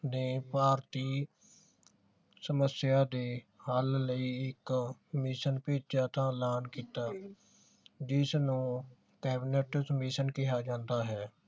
ਨੇ ਭਾਰਤੀ ਸਮਸਿਆ ਦੇ ਹੱਲ ਈ ਇਕ ਕਮਿਸ਼ਨ ਭੇਜਿਆ ਤਾ ਐਲਾਨ ਕੀਤਾ ਜਿਸਨੂੰ ਕੈਬਿਨੇਟ ਕਮਿਸ਼ਨ ਕਿਹਾ ਜਾਂਦਾ ਹੈ